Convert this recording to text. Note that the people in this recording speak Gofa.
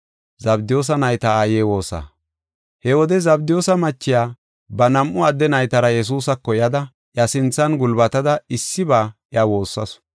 He wode Zabdiyoosa machiya ba nam7u adde naytara Yesuusako yada, iya sinthan gulbatada issiba iya woossasu.